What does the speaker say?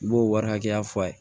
I b'o wari hakɛya fɔ a ye